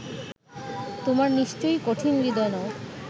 তোমরা নিশ্চয়ই কঠিন হূদয় নও